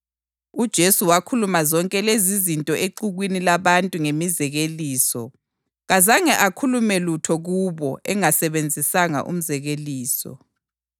UJesu wakhuluma zonke lezizinto exukwini labantu ngemizekeliso; kazange akhulume lutho kubo engasebenzisanga umzekeliso.